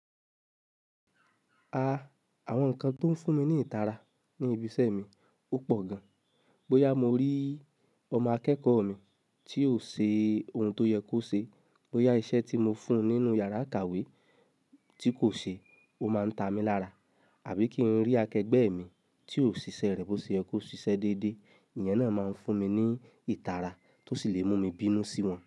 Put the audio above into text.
Ah! Àwọn nǹkan tó ń fún mi ní ìtara ní ibi iṣẹ́ mi ó pọ̀ gan. Bóyá mo rí ọmọ akẹ́kọ̀ọ́ mi tí ò ṣe ohun tó yẹ kó ṣe, bóyá iṣẹ́ tí mo fún un nínú yàrá ìkàwé tí kò ṣe, ó máa ń ta mi lára. Àbí kí n rí akẹgbẹ́ mi tí ò ṣiṣẹ́ rẹ̀ bó ṣe yẹ kó ṣiṣẹ́ déédé, ìyen náà máa ń fún mi ní ìtara tó sì lè mú mi bínú sí wọn.